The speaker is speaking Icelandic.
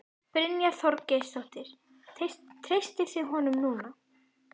Brynja Þorgeirsdóttir: Treystið þið honum núna?